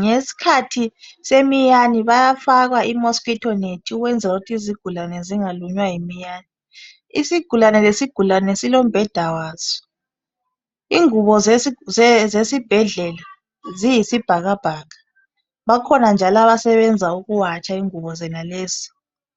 ngesikhathi semiyane bayafaka i mosquito net ukwenzela ukuthi izigulane zingalunywa yimiyane isigulane lesi gulane silombheda waso ingubo zesibhedlela ziyisibhakabhaka bakhona njalo abasebenza ukuwatsha ingubo zonalezi